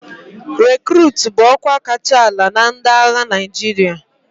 Rekurutu bụ ọkwa kacha ala na ndị agha Naịjirịa.